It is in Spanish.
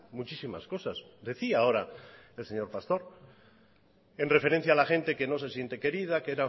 muchísimas cosas decía ahora el señor pastor en referencia a la gente que no se siente querida